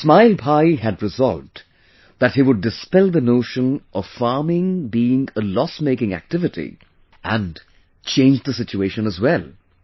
Ismail Bhai had resolved that he would dispel the notion of farming being a loss making activity and change the situation as well